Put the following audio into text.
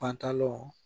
Pantalanw